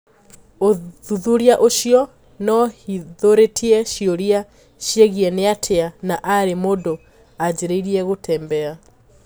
Uthuthuria ucio niohithũritie ciũria ciegie niatia na rii mũndũ ajirie gũtembea.